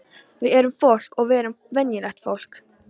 Við erum fólk og við erum venjulegt fólk.